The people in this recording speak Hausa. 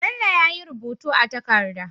Bello yayi rubutu a takada